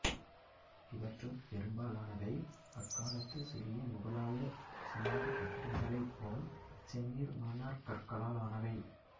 இவற்றுட் பெரும்பாலானவை அக்காலத்து சிறிய முகலாயச் சமாதிக் கட்டிடங்களைப் போல் செந்நிற மணற்கற்களால் ஆனவை